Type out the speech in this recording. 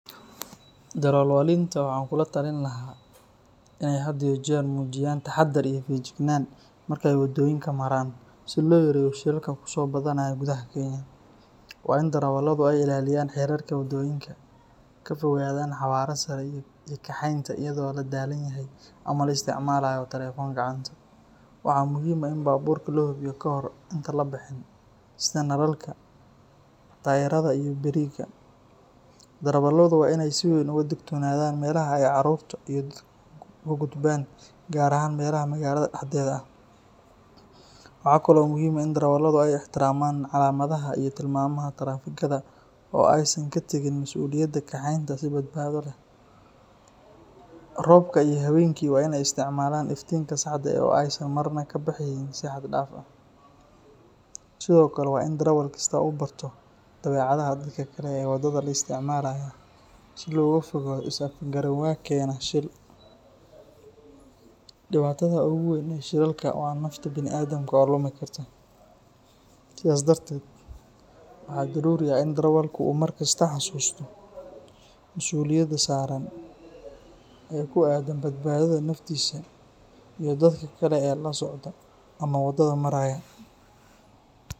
Darawalinta waxaan kula talin lahaa in ay had iyo jeer muujiyaan taxaddar iyo feejignaan marka ay waddooyinka maraan, si loo yareeyo shilalka kusoo badanaya gudaha Kenya. Waa in darawalladu ay ilaaliyaan xeerarka waddooyinka, ka fogaadaan xawaare sare iyo kaxaynta iyadoo la daalan yahay ama la isticmaalayo telefoon gacanta. Waxaa muhiim ah in baabuurka la hubiyo kahor intaan la bixin, sida nalalka, taayirrada iyo biriiga. Darawalladu waa inay si weyn uga digtoonaadaan meelaha ay caruurta iyo dadku ka gudbaan, gaar ahaan meelaha magaalada dhexdeeda ah. Waxaa kaloo muhiim ah in darawalladu ay ixtiraamaan calaamadaha iyo tilmaamaha taraafikada oo aysan ka tagin masuuliyadda kaxeynta si badbaado leh. Roobka iyo habeenkii waa inay isticmaalaan iftiinka saxda ah oo aysan marna kaxaynin si xad dhaaf ah. Sidoo kale waa in darawal kasta uu barto dabeecadaha dadka kale ee waddada la isticmaalaya, si looga fogaado is afgaranwaa keeni kara shil. Dhibaatada ugu weyn ee shilalka waa nafta bini’aadamka oo lumi karta, sidaas darteed waxaa daruuri ah in darawalku uu markasta xasuusto masuuliyadda saaran ee ku aaddan badbaadada naftiisa iyo dadka kale ee la socda ama waddada maraya.